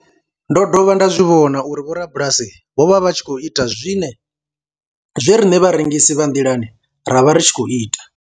Ndo dovha nda zwi vhona uri vhorabulasi vho vha vha tshi khou ita zwe riṋe vharengisi vha nḓilani ra vha ri tshi khou ita.